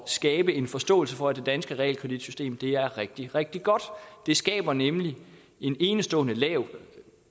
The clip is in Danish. skabe en forståelse for at det danske realkreditsystem er rigtig rigtig godt det skaber nemlig en enestående lav